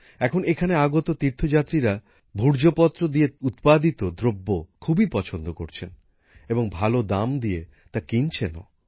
এখন এখানে আগত তীর্থযাত্রীরা ভূর্জপত্র দ্বারা উৎপাদিত দ্রব্য খুবই পছন্দ করছেন এবং ভালো দাম দিয়ে তা কিনছেনও